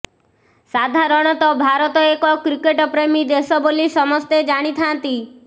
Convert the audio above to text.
ସାଧାରଣତଃ ଭାରତ ଏକ କ୍ରିକେଟ ପ୍ରେମୀ ଦେଶ ବୋଲି ସମସ୍ତେ ଜାଣିଥାନ୍ତି